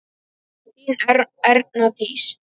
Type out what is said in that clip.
Þín Erna Dís.